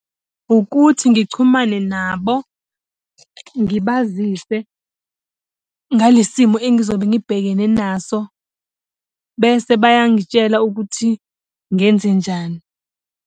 Ukuthi ngichumane nabo, ngibazise ngalesi simo engizobe ngibhekene naso. Bese bayangitshela ukuthi ngenzenjani.